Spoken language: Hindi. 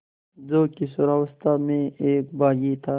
जो किशोरावस्था में एक बाग़ी था